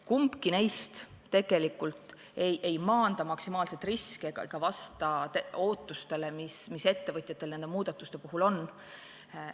Kumbki neist tegelikult ei maanda maksimaalselt riski ega vasta ootustele, mis ettevõtjatel nende muudatuste puhul on.